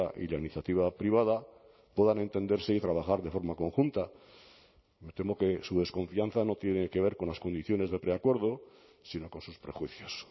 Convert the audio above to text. y la iniciativa privada puedan entenderse y trabajar de forma conjunta me temo que su desconfianza no tiene que ver con las condiciones de preacuerdo sino con sus prejuicios